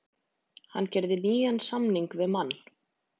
Hann gerði nýjan samning við Man.